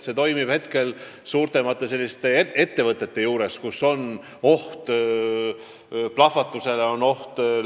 See võimalus on praegu suuremates ettevõtetes, kus on plahvatusoht.